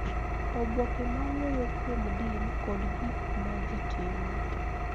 Oboke ma wuoyo kuom din kod gik ma ji timo